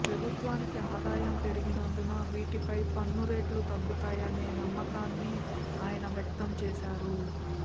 ప్రభుత్వానికి ఆదాయం పెరిగినందున వీటిపై పన్ను రేట్లు తగ్గుతాయనే నమ్మకాన్ని ఆయన వ్యక్తం చేశారు